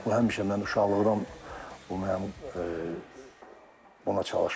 Bu həmişə mən uşaqlıqdan mənim buna çalışmışam.